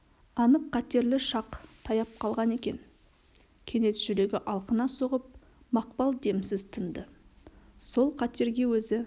анық қатерлі шақ таяп қалған екен кенет жүрегі алқына соғып мақпал демсіз тынды сол қатерге өзі